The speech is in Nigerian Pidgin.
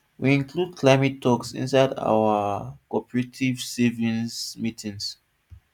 we include climate talks inside our cooperative savings meetings